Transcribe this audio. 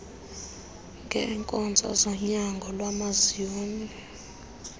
ngeenkonzo zonyango lwamazinyo